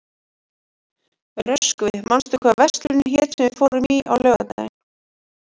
Röskvi, manstu hvað verslunin hét sem við fórum í á laugardaginn?